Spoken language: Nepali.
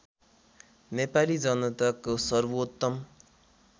नेपाली जनताको सर्वोत्तम